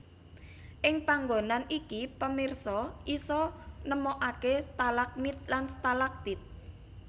Ing panggonan iki pemirsa isa nemokkaké stalagmit lan stalagtit